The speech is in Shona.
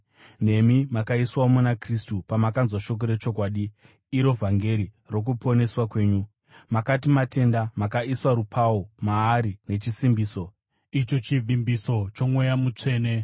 Nemi makaiswawo muna Kristu pamakanzwa shoko rechokwadi, iro vhangeri rokuponeswa kwenyu. Makati matenda, makaiswa rupau maari nechisimbiso, icho chivimbiso choMweya Mutsvene,